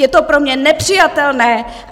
Je to pro mě nepřijatelné.